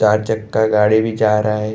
चार चक्का गाड़ी भी जा रहा है।